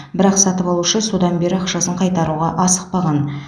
бірақ сатып алушы содан бері ақшасын қайтаруға асықпаған